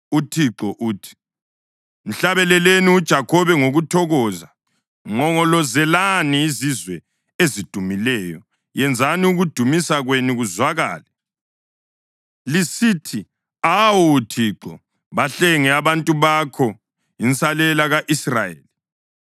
UThixo uthi: “Mhlabeleleni uJakhobe ngokuthokoza; nqongolozelani izizwe ezidumileyo. Yenzani ukudumisa kwenu kuzwakale, lisithi, ‘Awu Thixo, bahlenge abantu bakho, insalela ka-Israyeli.’